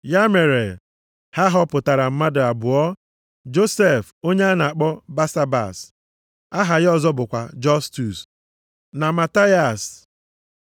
Ya mere, ha họpụtara mmadụ abụọ, Josef onye a na-akpọ Basabas (aha ya ọzọ bụkwa Jọstus) na Mataias. + 1:23 Mataias bụ onye ahọpụtara ka ọ nọchie anya Judas Iskarịọt nʼije ozi. Ọrụ ndị ozi bụ ịgba ama na ikwupụta mbilite nʼọnwụ Jisọs dịka Kraịst ahụ.